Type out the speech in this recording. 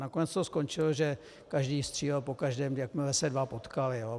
Nakonec to skončilo, že každý střílel po každém, jakmile se dva potkali.